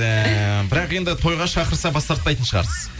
ііі бірақ енді тойға шақырса бас тартпайтын шығарсыз